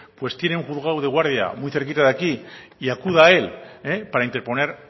tiene un juzgado de guardia muy cerquita de aquí y acuda a él para interponer